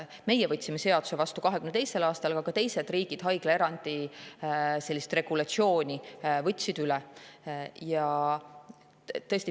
Meie võtsime seaduse vastu 2022. aastal, aga ka teised riigid võtsid üleeuroopaliselt sellise haiglaerandi regulatsiooni üle.